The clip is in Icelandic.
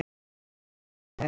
Hann var mér afar kær.